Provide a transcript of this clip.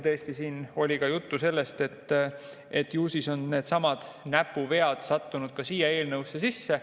Tõesti, oli ka juttu sellest, et ju siis on needsamad näpuvead sattunud ka siia eelnõusse sisse.